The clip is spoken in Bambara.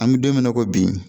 An bɛ don min na i ko bi